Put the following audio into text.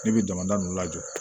Ne bɛ jamana ninnu lajɔ